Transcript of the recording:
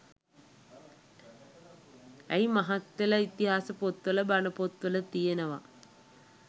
ඇයි මහත්තේල ඉතිහාස පොත් වල බණ පොත් වල තියෙනව